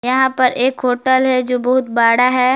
यहां पर एक होटल है जो बहुत बड़ा है।